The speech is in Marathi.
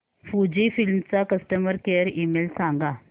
फुजीफिल्म चा कस्टमर केअर ईमेल सांगा